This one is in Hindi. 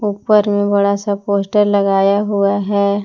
ऊपर में बड़ा सा पोस्टर लगाया हुआ है।